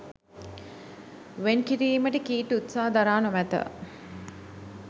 වෙන් කිරීමට කීට් උත්සාහ දරා නොමැත